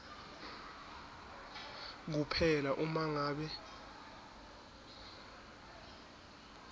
kuphela uma ngabe